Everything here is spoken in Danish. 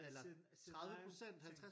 er sin er sin egen ting